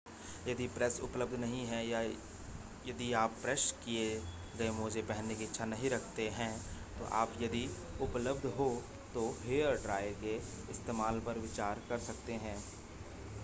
यदि प्रेस उपलब्ध नहीं है या यदि आप प्रेस किए गए मोजे पहनने की इच्छा नहीं रखते हैं तो आप यदि उपलब्ध हो तो हेयरड्रायर के इस्तेमाल पर विचार कर सकते हैं